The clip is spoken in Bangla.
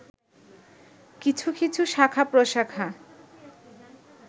কিছু কিছু শাখা-প্রশাখা